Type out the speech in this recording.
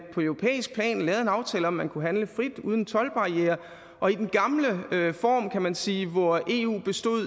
på europæisk plan lavede en aftale om at man kunne handle frit uden toldbarrierer og i den gamle form kan man sige hvor eu bestod